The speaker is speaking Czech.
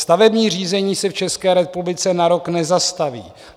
Stavební řízení se v České republice na rok nezastaví.